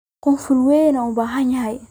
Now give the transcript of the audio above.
Kunful weyn ubahanhy.